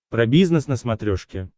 про бизнес на смотрешке